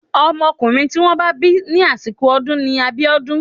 Ọmọkùnrin tí wọ́n bá bí ní àsìkò ọdún ni Abiodun.